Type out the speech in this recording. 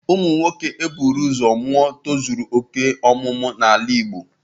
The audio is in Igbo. Ụmụ nwoke eburu ụzọ mụọ tozuru oke ọmụmụ n'ala Igbo.